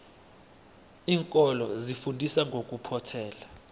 iinkolo zifundisa ngokuphothela